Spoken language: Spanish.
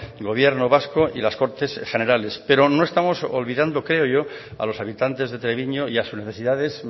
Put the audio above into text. gobierno vasco y las cortes generales pero no estamos olvidando creo yo a los habitantes de treviño y a sus necesidades